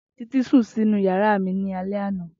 Titi sun ninu yara mi ni alẹ ana.